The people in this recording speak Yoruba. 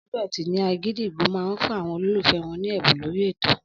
Ọjọ́ Ẹtì ni Àgídìgbo máa fún àwọn olólùfẹ́ wọn ní ẹ̀bùn lórí ètò.